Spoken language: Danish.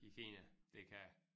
I Kina det kan